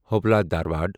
Hubli Dharwad